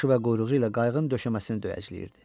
Başı və quyruğu ilə qayığın döşəməsini döyəcləyirdi.